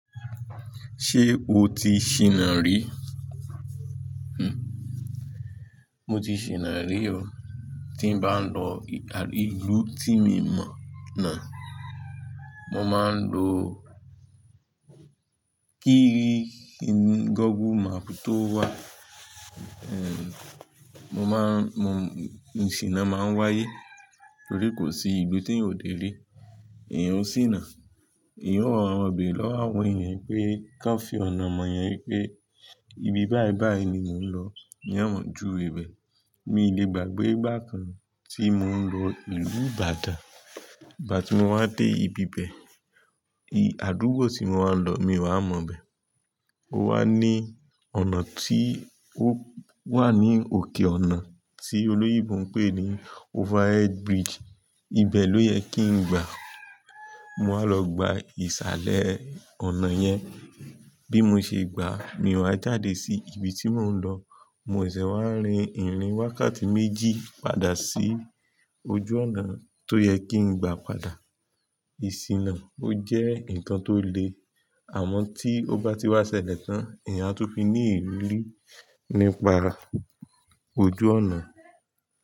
Ṣé o ti ṣiná rí? Hm, mo ti ṣiná rí o. Tí n bá ń lọ ìlú tí mi mọ̀ náà, mo máa ń lo kiri Google Map tó wà. Ehn, mo má ń, mo, ìṣìnà máa ń wáyé torí kò sí ìlú tí n ò dé rí. Ìyẹn ó ṣìnà. Ìyẹn ó rọbì lọ́wọ́ àwọn èèyàn pé kí wọ́n fi ọ̀nà mọ yẹn wípé ibi báì báì ni mò ń lọ. Ìyẹn wọ́n ju rẹ bẹ̀. Mi le gbàgbé ìgbà kan tí mò ń lọ ìlú Ìbàdàn. Ìgbà tí mo wá dé ibi bẹ́ẹ̀, àdúgbò tí mo wá ń lọ mi ò wa mọ̀ bẹ́ẹ̀. Ó wá ní ọ̀nà tí ó wà ní òkè ọ̀nà tí olóyèbù ń pè ní overhead bridge. Ibe lọ yẹ kí n gbà. Mo máa lọ gba ìsàlẹ̀ ọ̀nà yẹn. Bí mo ṣe gbà, mi ò wá jáde sí ibi tí mò ń lọ. Mo ìmsẹ̀ sẹ̀ wá rin ìrìn wákàtí méjì padà sí ojú ọ̀nà tó yẹ kí n gbà padà. Ìṣìnà ó jẹ́ nǹkan tó le. Àmọ́ tí ó bá ti wá ṣẹlẹ̀ tán, èèyàn á tún fi ní ìrì rì nípa ojú ọ̀nà.